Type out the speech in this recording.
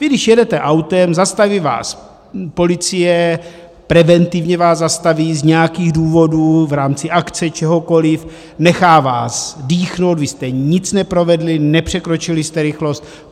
Vy když jedete autem, zastaví vás policie, preventivně vás zastaví z nějakých důvodů, v rámci akce, čehokoliv, nechá vás dýchnout, vy jste nic neprovedli, nepřekročili jste rychlost.